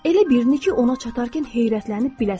Elə birini ki, ona çatarkən heyrətlənib biləsən.